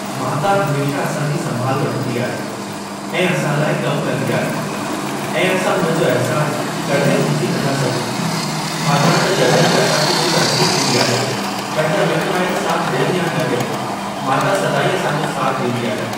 माता हमेशा असां जी संभाल वठंदी आहे ऐं असां लाइ कम कंदी आहे ऐं असां हुन जो अहिसान कॾहिं भुलजी न था सघूं छाकाणि त जॾहिं बि असां खे कोई तकलीफ़ ईंदी आहे पंहिंजा मिट माइट साथ ॾियनि या न ॾियनि, माता सदाईं असांजो साथ ॾींदी आहे।